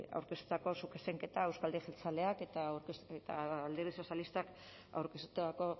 aurkeztutako zuzenketa euzko alderdi jeltzaleak eta alderdi sozialistak aurkeztutako